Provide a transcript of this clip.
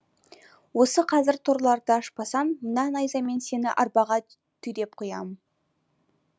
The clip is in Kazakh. осы қазір торларды ашпасаң мына найзамен сені арбаға түйреп қоям